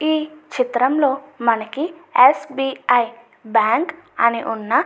ఈ చిత్రంలో మనకి ఎస్.బి.ఐ. బ్యాంకు అని ఉన్న --